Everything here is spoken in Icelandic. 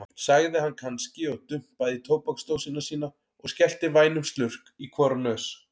sagði hann kannski og dumpaði í tóbaksdósina sína og skellti vænum slurk í hvora nös.